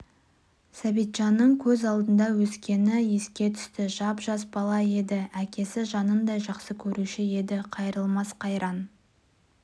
сәбитжанның көз алдында өскені еске түсті жап-жас бала еді әкесі жанындай жақсы көруші еді қайырылмас қайран